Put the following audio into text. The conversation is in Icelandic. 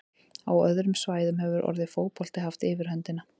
Á öðrum svæðum hefur orðið fótbolti haft yfirhöndina.